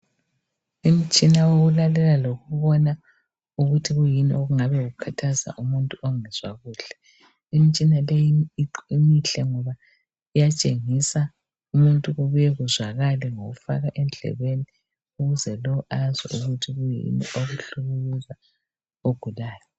Imitshina wokulalela. lokubona ukuthi kuyini okukhathaza umuntu ongezwa kuhle. imitshiba le mihle ngoba iyatshengisa kubuye kuzwakale ngokufaka endlebeni ukuthi azwe ukuthi kuyini okuhlukuluza lowo ogulayo.